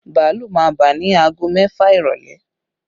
Bàálù máa bà ni aago mẹ́fà ìrọ́lẹ́